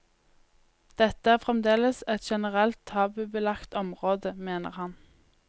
Dette er fremdeles et generelt tabubelagt område, mener han.